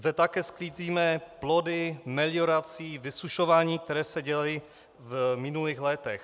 Zde také sklízíme plody meliorací, vysušování, které se děly v minulých letech.